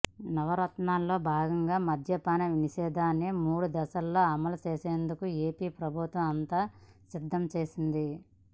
నవరత్నాల్లో భాగంగా మద్యపాన నిషేదాన్ని మూడు దశల్లో అమలుచేసేందుకు ఏపీ ప్రభుత్వం అంతా సిద్ధం చేసింది